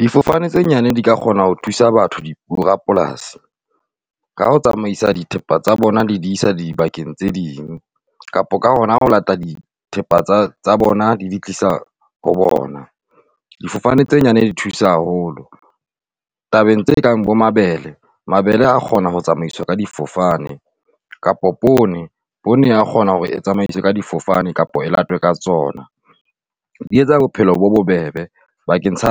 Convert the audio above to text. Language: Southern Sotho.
Difofane tse nyane di ka kgona ho thusa batho borapolasi ka ho tsamaisa dithepa tsa bona, di di isa dibakeng tse ding, kapa ka hona ho latela dithepa tsa bona di di tlisa ho bona. Difofane tse nyane di thusa haholo tabeng tse kang bo mabele. Mabele a kgona ho tsamaiswa ka difofane kapo poone, poone e a kgona hore e tsamaiswe ka difofane kapa e latwe ka tsona, di etsa bophelo bo bobebe. Bakeng sa